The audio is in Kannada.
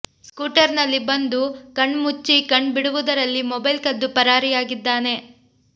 ಸ್ಕೂಟರ್ ನಲ್ಲಿ ಬಂದು ಕಣ್ ಮುಚ್ಚಿ ಕಣ್ ಬಿಡುವುದರಲ್ಲಿ ಮೊಬೈಲ್ ಕದ್ದು ಪರಾರಿಯಾಗಿದ್ದಾನೆ